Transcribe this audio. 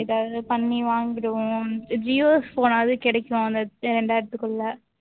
இதை பண்ணி வாங்கிடுவோம் கிடைக்கும் அந்த